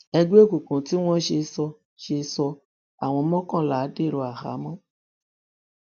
ẹgbẹ òkùnkùn tí wọn ń ṣe sọ ṣe sọ àwọn mọkànlá dèrò àhámọ